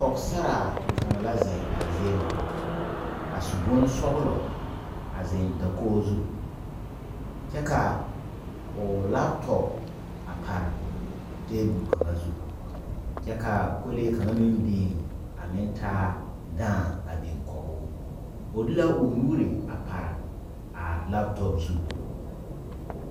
Pɔgsarre kang la zeng a zie nga a su bonsɔglo a zeng dakogo zu kye ka ɔ laptɔp a pare tabuli kanga zu kye ka kolɛɛ kanga meng beng a meng taa daãng a beng koguu ɔ de la ɔ nuuri a pare a laptɔp zu.